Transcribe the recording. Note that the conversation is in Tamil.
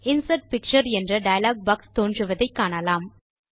இன்சர்ட் பிக்சர் என்ற டயலாக் பாக்ஸ் தோன்றுவதை காணலாம்